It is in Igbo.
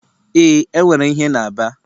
Ee, enwere ìhè na Aba